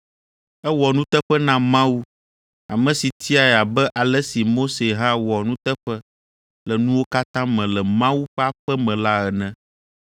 Ewɔ nuteƒe na Mawu, ame si tiae abe ale si Mose hã wɔ nuteƒe le nuwo katã me le Mawu ƒe aƒe me la ene.